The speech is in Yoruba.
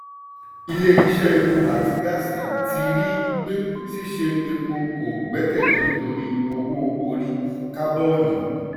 ilé ilé iṣẹ́ epo àti gáàsì ti ri pé ṣíṣe epo kò gbẹ́kèlé nítorí owó orí kábònì.